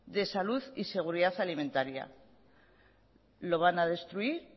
de salud y seguridad alimentaria lo van a destruir